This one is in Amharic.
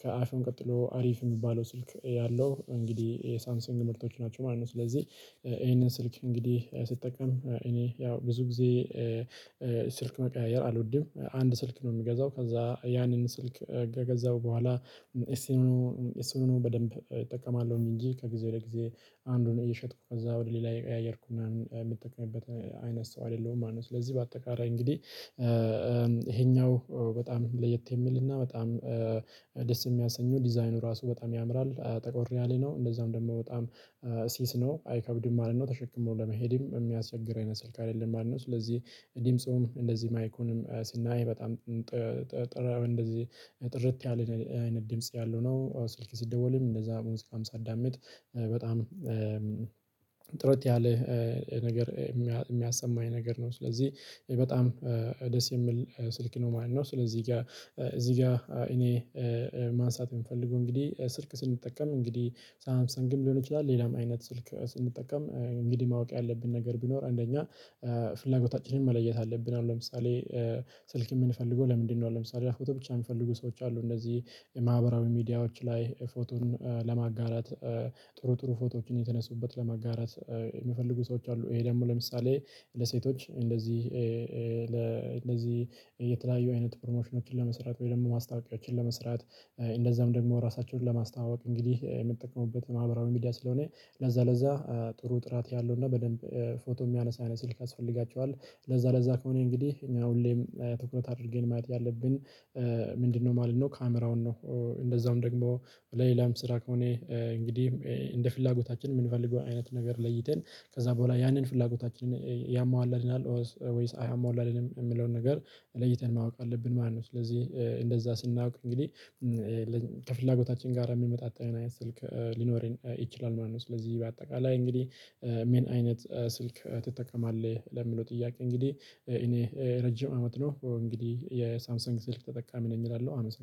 ከአይፎን ቀጥሎ አሪፍ የሚባለው ስልክ ያለው እንግዲህ የሳንሲንግ ምርቶች ናቸው ማለት ነው። ስለዚህ ይሄንን ስልክ እንግዲህ ሲጠቀም እኔ ያው ብዙ ጊዜ ስልክ መቀያየር አልወድም አንድ ስልክ ነው የምገዛው ከዛ ያንን ስልክ ከገዛሁ በኋላ እሱኑ እሱኑ በደንብ እጠቀማለሁም። እንጂ ከጊዜ በጊዜ አንዱን እየሸጥኩ ከዛ ወደ ሌላ የቀያየርኩና የምጠቀምበት አይነት ሰው አይደለሁም ማለት ነው። ስለዚህ በአጠቃላይ እንግዲህ በጣም ለየት የሚልና በጣም ደስ የሚያሰኙ ዲዛይኑ ራሱ በጣም ያምራል ጠቆር ሪያሌ ነው። እንደዛም ደግሞ በጣም ሲስ ነው አይከብድም ማለት ነው። ተሸክሞ ለመሄድም የሚያስቸግር አይነት ስልክ አይደለም። ማለት አልኖስ ስለዚህ እኔም ጾም እንደዚህ ማይኩንም ስናይ በጣም እንደዚህ ጥርት ያለ አይነት ድምጽ ያለው ነው። ስልክ ሲደወልም እንደዛ ሙስቃም ሳዳምጥ በጣም ያለ ነገር የሚያሰማኝ ነገር ነው። ስለዚህ በጣም ደስ የሚል ስልክ ነው ማለት ነው። ስለዚህ ጋር እዚህ ጋር እኔ ማንሳት የምፈልገው እንግዲህ ስልክ ስንጠቀም እንግዲህ ሳምሰን ግም ሊሆን ይችላል። ሌላም አይነት ስልክ ስንጠቀም እንግዲህ ማወቅ ያለብን ነገር ቢኖር አንደኛ ፍላጎታችንን መለየት አለብን አሁን ለምሳሌ ስልክ የምንፈልገው ለምንድነው? ለምሳሌ ፎቶ ብቻ የሚፈልጉ ሰዎች አሉ እንደዚህ የማህበራዊ ሚዲያዎች ላይ ፎቶን ለማጋራት ጥሩ ፎቶዎችን የተነሱበት ለመጋራት የሚፈልጉ ሰዎች አሉ። ይሄ ደግሞ ለምሳሌ ለሴቶች እንደዚህ እንደዚህ የተለያዩ አይነት ፕሮሞሽኖችን ለመስራት ወይም ለማስታወቂያዎችን ለመስራት እንደዛም ራሳቸውን ለማስተዋወቅ እንግዲህ የምትጠቀሙበት ማብራሪያ ስለሆነ ለዛ ለዛ ጥሩ ጥራት ያለው እና በደንብ ፎቶ የሚያነሳ የሆነ ስልክ ያስፈልጋቸዋል። ለዛ ለዛ ከሆነ እንግዲህ እኛ ሁሌም ትኩረት አድርጌን ማለት ያለብን ምንድነው ማለት ነው? ካሜራውን ነው እንደዛውም ደግሞ ለሌላም ስራ ከሆነ እንግዲህ እንደ ፍላጎታችን የምንፈልገው አይነት ነገር ለይተን ከዛ በኋላ ያንን ፍላጎታችንን ያሟላልናል ወይስ አይሟላልንም የሚለውን ነገር ለይተን ማወቅ አለብን። ማለት ነው ስለዚህ እንደዛ ስናውቅ እንግዲህ ከፍላጎታችን ጋር የሚመጣጠን አይነት ስልክ ሊኖር ይችላል ማለት ነው። ስለዚህ በአጠቃላይ እንግዲህ ሜን አይነት ስልክ ትጠቀማለህ? ለሚለው ጥያቄ እንግዲህ እኔ ረጅም አመት ነው እንግዲህ የሳምሰንግ ስልክ ተጠቃሚ ነኝ እላለሁ። አመሰግናለሁ